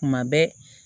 Kuma bɛɛ